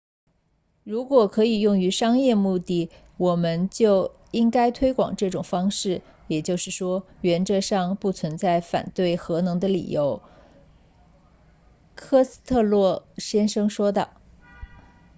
如果可以用于商业目的我们就应该推广这种方式也就是说原则上不存在反对核能的理由科斯特洛先生说道